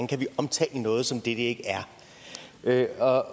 kan omtale noget som det det ikke er herre